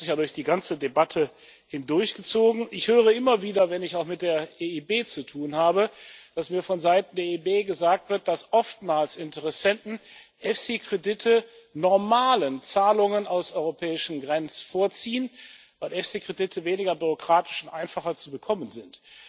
Das hat sich durch die ganze Debatte hindurchgezogen. Ich höre immer wieder, wenn ich auch mit der EIB zu tun habe, dass mir vonseiten der EIB gesagt wird, dass oftmals Interessenten EFSI Kredite normalen Zahlungen aus europäischen Finanzhilfen vorziehen, weil EFSI Kredite weniger bürokratisch und einfacher zu bekommen sind.